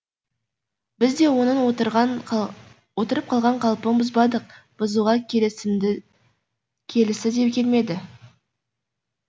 біз де оның отырып қалған қалпын бұзбадық бұзуға келісі де келмеді